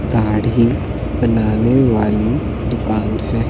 दाढ़ी बनाने वाली दुकान है।